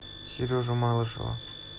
сережу малышева